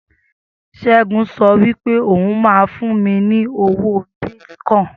Segun sọ wípé ó hun ma fún mi ní owó bìtìcoin